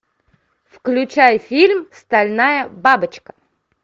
включай фильм стальная бабочка